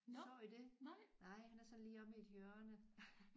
Så I det? Nej han er sådan lige omme i et hjørne